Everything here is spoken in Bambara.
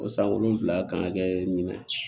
O san wolonfila kan ka kɛ min na